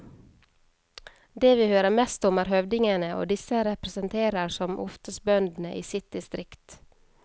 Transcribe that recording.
De vi hører mest om er høvdingene og disse representerer som oftest bøndene i sitt distrikt.